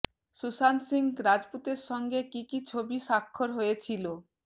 সুশান্ত সিং রাজপুতের সঙ্গে কী কী ছবি স্বাক্ষর হয়েছিল